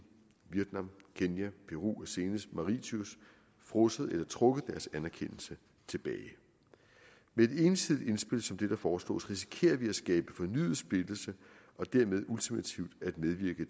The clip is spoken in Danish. vietnam kenya peru og senest maritius frosset eller trukket deres anerkendelse tilbage med et ensidigt indspil som det der foreslås risikerer vi at skabe fornyet splittelse og dermed ultimativt at medvirke